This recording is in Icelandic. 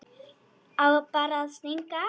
Á bara að stinga af.